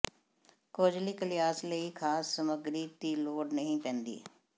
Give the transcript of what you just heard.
ਕੋਜ਼ਲੀ ਕਲਿਆਸ ਲਈ ਖਾਸ ਸਮੱਗਰੀ ਦੀ ਲੋੜ ਨਹੀਂ ਪੈਂਦੀ